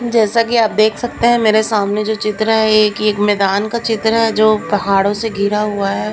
जैसा कि आप देख सकते हैं मेरे सामने जो चित्र है एक ये मैदान का चित्र है जो पहाड़ों से घिरा हुआ है।